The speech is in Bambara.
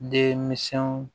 Deminsɛnw